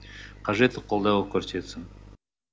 қажетті қолдау көрсетсін